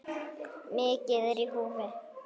Mikið er í húfi.